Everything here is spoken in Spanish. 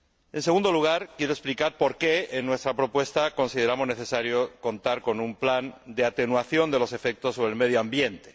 En segundo lugar, quiero explicar por qué en nuestra propuesta consideramos necesario contar con un plan de atenuación de los efectos sobre el medio ambiente.